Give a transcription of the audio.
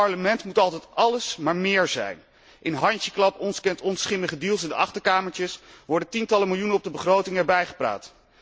In dit Parlement moet altijd alles maar méér zijn. Via handjeklap, ons kent ons, schimmige deals in de achterkamertjes worden tientallen miljoenen op de begroting erbij gepraat.